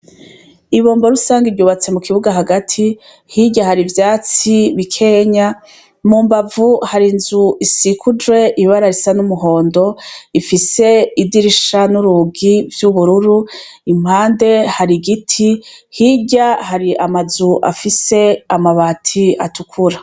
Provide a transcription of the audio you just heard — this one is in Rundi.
Ibombo rusangi ryubatse mu kibuga Hagati, Hirya hari ivyatsi bikenya mumbavu hari inzu isegujwe ibara risa numuhondo Ifise idirisha nurugi vyubururu impande hari igiti Hirya hari amabati afise amabati atukura.